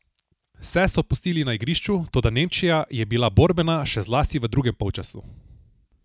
Vse so pustili na igrišču, toda Nemčija je bila borbena, še zlasti v drugem polčasu.